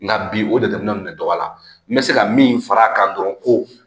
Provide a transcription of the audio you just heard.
Nka bi o jateminɛ ninnu de dɔgɔya n bɛ se ka min fara a kan dɔrɔn ko